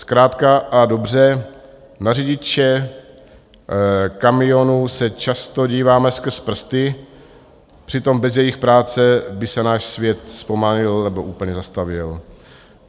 Zkrátka a dobře, na řidiče kamionů se často díváme skrz prsty, přitom bez jejich práce by se náš svět zpomalil nebo úplně zastavil.